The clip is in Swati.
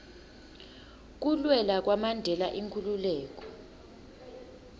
kulwela kwamandela inkhululeko